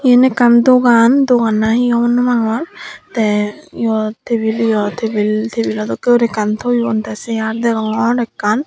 yen ekkan dogan dogan nahi hobor no pangor te yot tebil yot tebil tebilo dokke guri ekkan toyon tay se ar degongor ekkan.